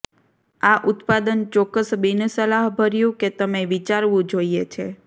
આ ઉત્પાદન ચોક્કસ બિનસલાહભર્યું કે તમે વિચારવું જોઇએ છે